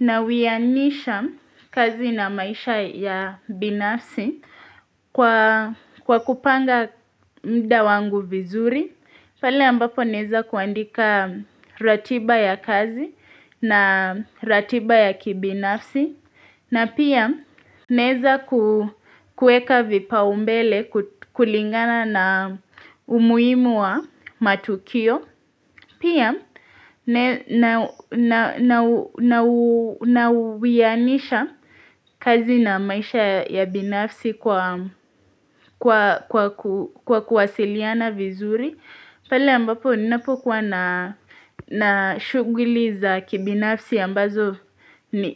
Nawianisha kazi na maisha ya binafsi kwa kupanga muda wangu vizuri pale ambapo naweza kuandika ratiba ya kazi na ratiba ya kibinafsi na pia naweza kuweka vipaumbele kulingana na umuhimu wa matukio Pia nawianisha kazi na maisha ya binafsi kwa kuwasiliana vizuri pale ambapo ninapokuwa na shuguli za kibinafsi ambazo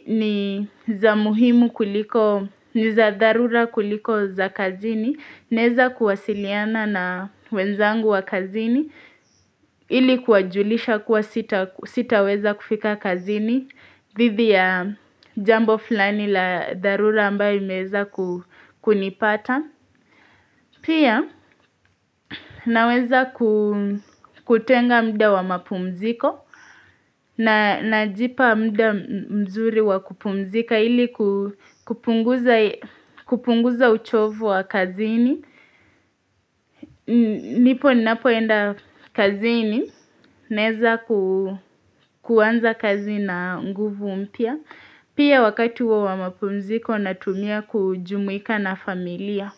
ni za muhimu kuliko ni za dharura kuliko za kazini naweza kuwasiliana na wenzangu wa kazini ili kuwajulisha kuwa sitaweza kufika kazini dhidi ya jambo fulani la dharura ambalo limeweza kunipata Pia naweza kutenga muda wa mapumziko na najipa muda mzuri wa kupumzika ili kupunguza uchovu wa kazini Ndipo ninapoenda kazini Naweza kuanza kazi na nguvu mpya. Pia wakati huo wa mapumziko natumia kujumuika na familia.